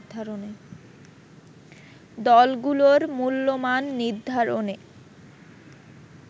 দলগুলোর মূল্যমান নির্ধারণে